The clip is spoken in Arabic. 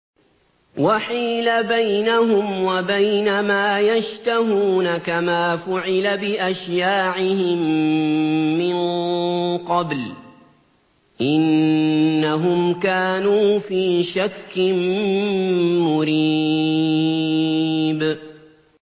وَحِيلَ بَيْنَهُمْ وَبَيْنَ مَا يَشْتَهُونَ كَمَا فُعِلَ بِأَشْيَاعِهِم مِّن قَبْلُ ۚ إِنَّهُمْ كَانُوا فِي شَكٍّ مُّرِيبٍ